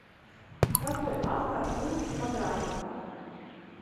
какой автор у типографика